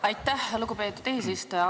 Aitäh, lugupeetud eesistuja!